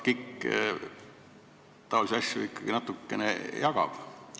KIK taolisi asju ikkagi natukene jagab.